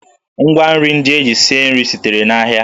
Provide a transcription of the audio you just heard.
Ngwa nri ndị e ji sie nri sitere n'ahịa